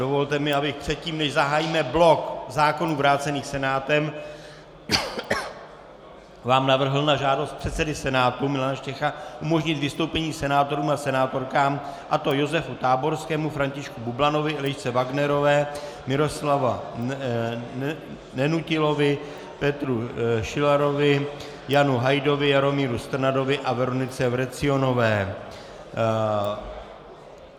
Dovolte mi, abych předtím, než zahájíme blok zákonů vrácených senátem, vám navrhl na žádost předsedy Senátu Milana Štěcha umožnit vystoupení senátorům a senátorkám, a to Josefu Táborskému, Františku Bublanovi, Elišce Wagnerové, Miroslavu Nenutilovi, Petru Šilarovi, Janu Hajdovi, Jaromíru Strnadovi a Veronice Vrecionové.